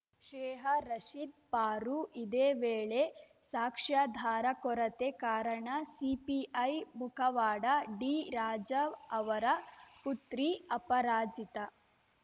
ಶೇಹಾ ರಶೀದ್‌ ಪಾರು ಇದೇ ವೇಳೆ ಸಾಕ್ಷ್ಯಾಧಾರ ಕೊರತೆ ಕಾರಣ ಸಿಪಿಐ ಮುಖವಾಡ ಡಿ ರಾಜಾ ಅವರ ಪುತ್ರಿ ಅಪರಾಜಿತಾ